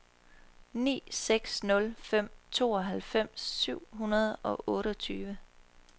ni seks nul fem tooghalvfems syv hundrede og otteogtyve